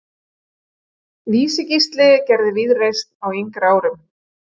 Vísi-Gísli gerði víðreist á yngri árum.